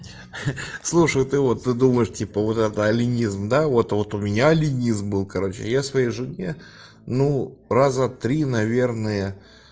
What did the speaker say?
слушай ты вот ты думаешь типа вот это аленизм да вот вот у меня аленизм был короче я своей жене ну раза три наверное